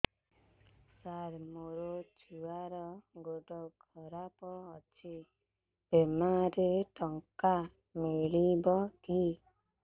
ସାର ମୋର ଛୁଆର ଗୋଡ ଖରାପ ଅଛି ବିମାରେ ଟଙ୍କା ମିଳିବ କି